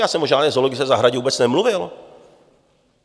Já jsem o žádné zoologické zahradě vůbec nemluvil.